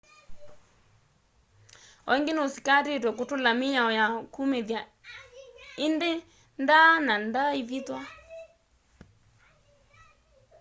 o ĩngi ni usikatĩitwe kutula mĩao ya kumĩthya indĩ ndaa na ndaaĩvĩthwa